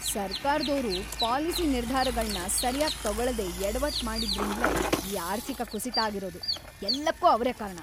ಸರ್ಕಾರ್ದೋರು policy ನಿರ್ಧಾರಗಳ್ನ ಸರ್ಯಾಗ್‌ ತಗೊಳ್ದೇ ಎಡವಟ್ಟ್‌ ಮಾಡಿದ್ರಿಂದ್ಲೇ ಈ ಆರ್ಥಿಕ ಕುಸಿತ ಆಗಿರೋದು, ಎಲ್ಲಕ್ಕೂ ಅವ್ರೇ ಕಾರಣ.